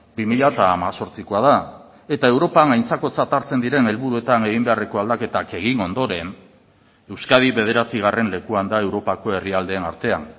bi mila hemezortzikoa da eta europan aintzakotzat hartzen diren helburuetan egin beharreko aldaketak egin ondoren euskadi bederatzigarren lekuan da europako herrialdeen artean